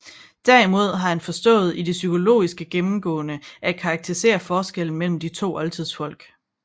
Derimod har han forstået i det psykologiske gennemgående at karakterisere forskellen mellem de to oldtidsfolk